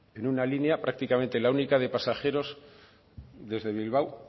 en una línea prácticamente la única de pasajeros desde bilbao